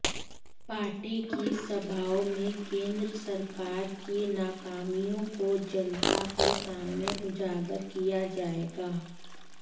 party की सभाओं में केंद्र सरकार की नाकामियों को जनता के सामने उजागर किया जाएगा